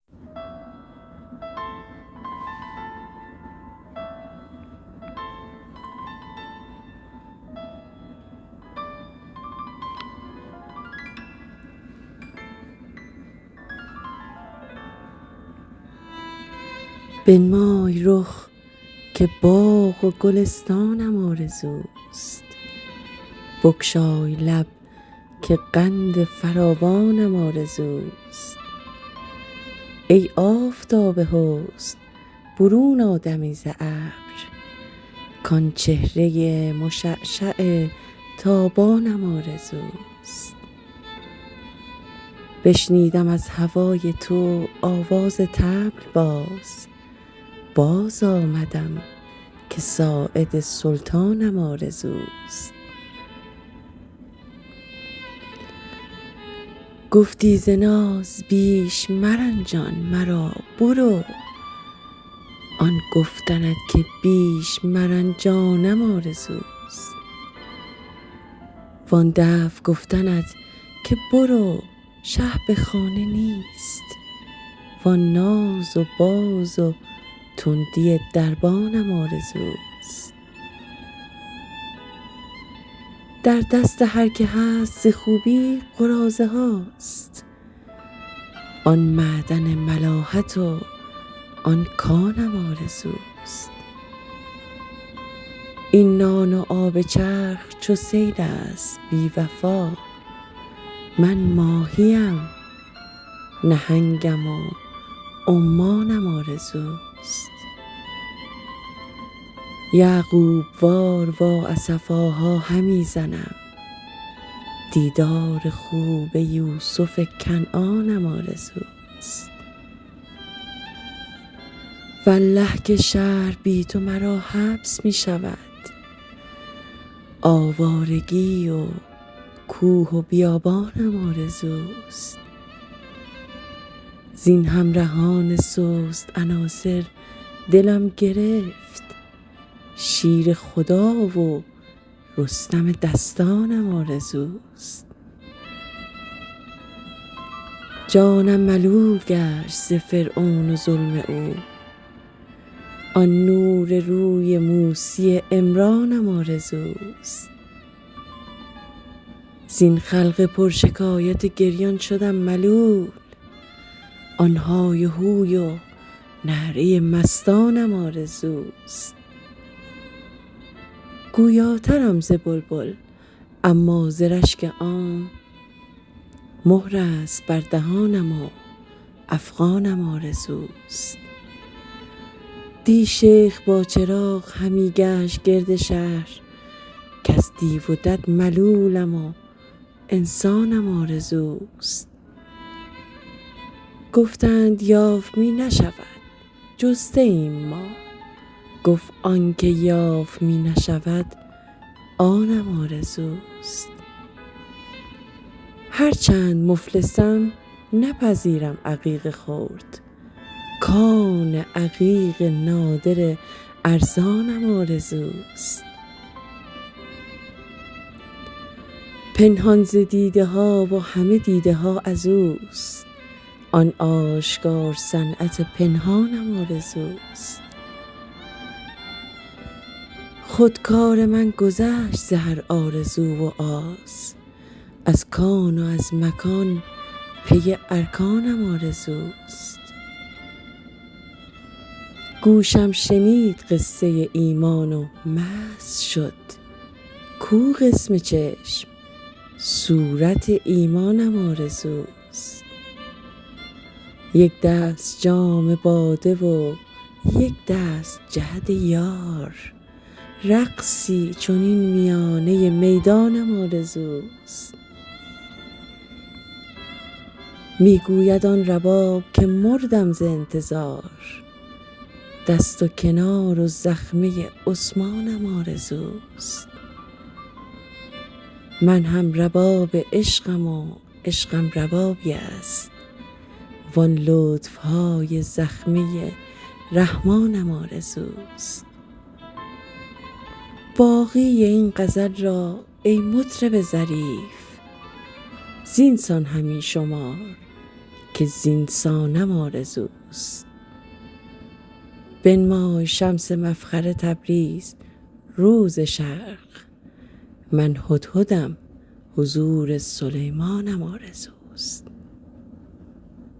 بنمای رخ که باغ و گلستانم آرزوست بگشای لب که قند فراوانم آرزوست ای آفتاب حسن برون آ دمی ز ابر کآن چهره مشعشع تابانم آرزوست بشنودم از هوای تو آواز طبل باز باز آمدم که ساعد سلطانم آرزوست گفتی ز ناز بیش مرنجان مرا برو آن گفتنت که بیش مرنجانم آرزوست وآن دفع گفتنت که برو شه به خانه نیست وآن ناز و باز و تندی دربانم آرزوست در دست هر که هست ز خوبی قراضه هاست آن معدن ملاحت و آن کانم آرزوست این نان و آب چرخ چو سیل است بی وفا من ماهی ام نهنگم و عمانم آرزوست یعقوب وار وا اسفاها همی زنم دیدار خوب یوسف کنعانم آرزوست والله که شهر بی تو مرا حبس می شود آوارگی و کوه و بیابانم آرزوست زین همرهان سست عناصر دلم گرفت شیر خدا و رستم دستانم آرزوست جانم ملول گشت ز فرعون و ظلم او آن نور روی موسی عمرانم آرزوست زین خلق پرشکایت گریان شدم ملول آن های هوی و نعره مستانم آرزوست گویاترم ز بلبل اما ز رشک عام مهر است بر دهانم و افغانم آرزوست دی شیخ با چراغ همی گشت گرد شهر کز دیو و دد ملولم و انسانم آرزوست گفتند یافت می نشود جسته ایم ما گفت آن چه یافت می نشود آنم آرزوست هرچند مفلسم نپذیرم عقیق خرد کان عقیق نادر ارزانم آرزوست پنهان ز دیده ها و همه دیده ها از اوست آن آشکار صنعت پنهانم آرزوست خود کار من گذشت ز هر آرزو و آز از کان و از مکان پی ارکانم آرزوست گوشم شنید قصه ایمان و مست شد کو قسم چشم صورت ایمانم آرزوست یک دست جام باده و یک دست جعد یار رقصی چنین میانه میدانم آرزوست می گوید آن رباب که مردم ز انتظار دست و کنار و زخمه عثمانم آرزوست من هم رباب عشقم و عشقم ربابی است وآن لطف های زخمه رحمانم آرزوست باقی این غزل را ای مطرب ظریف زین سان همی شمار که زین سانم آرزوست بنمای شمس مفخر تبریز رو ز شرق من هدهدم حضور سلیمانم آرزوست